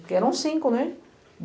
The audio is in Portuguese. Porque eram cinco, né?